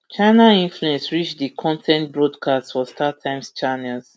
china influence reach di con ten t broadcast for startimes channels